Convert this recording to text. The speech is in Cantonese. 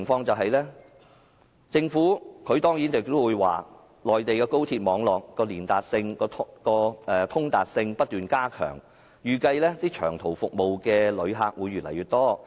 政府當然會說內地的高鐵網絡的通達性不斷加強，預計使用長途服務的旅客會越來越多。